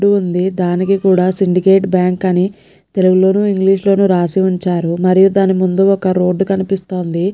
ఉంది దానికి కూడా సిండికేట్ బ్యాంక్ అని తెలుగులోనూ ఇంగ్లీష్ లోనూ రాశివుంచారుమరియు దాని ముందు ఒక్క రోడ్డు కనిపిస్తోంది.